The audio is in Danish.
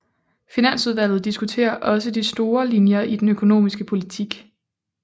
Finansudvalget diskuterer også de store linjer i den økonomiske politik